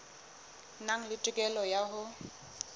nang le tokelo ya ho